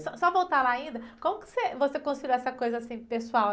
Só, só voltar lá ainda, como que você, você construiu essa coisa, assim, pessoal?